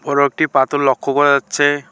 বড় একটি পাতর লক্ষ্য করা যাচ্ছে।